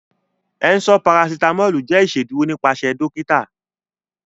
Ẹ̀nṣọ parasitamọlù jẹ́ ìṣédurò nípasẹ̀ dọ̀kìtà